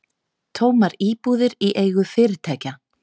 Tómar íbúðir í eigu fyrirtækja